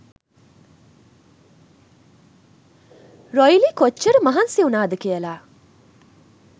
රොයිලි කොච්ච‍ර මහන්සි උනාද කියල